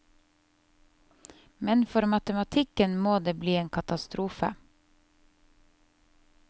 Men for matematikken må det bli katastrofe.